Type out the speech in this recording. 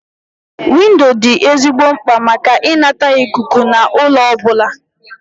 Windo dị ezigbo mkpa maka ịnata ikuku na ụlọ ọbụla